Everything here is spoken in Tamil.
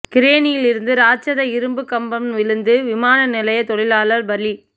கிரேனிலிருந்து ராட்சத இரும்புக் கம்பம் விழுந்து விமான நிலைய தொழிலாளர் பலி